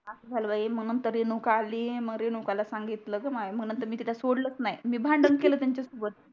अस झाल बाई मग नंतर रेणुका आली मग रेणुकाला सांगितल ग माय मग नंतर तिला सोडलच नाही मी भांडण केल त्यांच्या सोबत